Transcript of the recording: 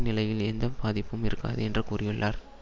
நிலையில் எந்த பாதிப்பும் இருக்காது என்று கூறியுள்ளார்